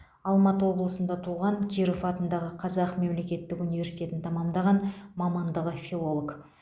алматы облысында туған киров атындағы қазақ мемлекеттік университетін тәмамдаған мамандығы филолог